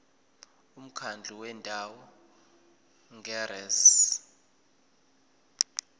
umkhandlu wendawo ngerss